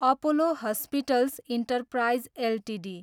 Apollo hospitals enterprise Ltd